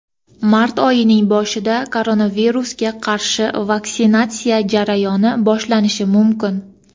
mart oyining boshida koronavirusga qarshi vaksinatsiya jarayoni boshlanishi mumkin.